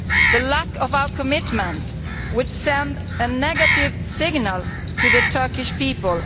The lack of our commitment would send a negative signal to the Turkish people.